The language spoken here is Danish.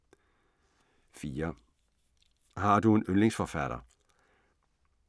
4) Har du en yndlingsforfatter?